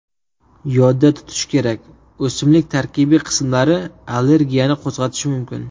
Yodda tutish kerak, o‘simlik tarkibiy qismlari allergiyani qo‘zg‘atishi mumkin.